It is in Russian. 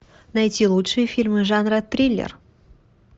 найти лучшие фильмы жанра триллер